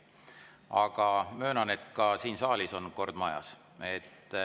Aga möönan, et ka siin saalis on kord majas.